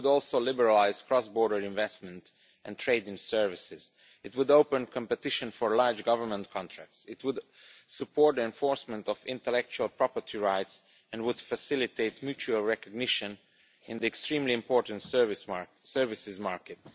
It would also liberalise cross border investment and trade in services. It would open competition for large government contracts, it would support enforcement of intellectual property rights and would facilitate mutual recognition in the extremely important services market.